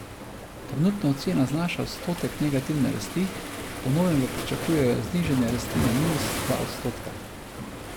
Trenutna ocena znaša odstotek negativne rasti, po novem pa pričakujejo znižanje rasti na minus dva odstotka.